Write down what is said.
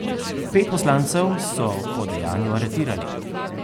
Pet poslancev so po dejanju aretirali.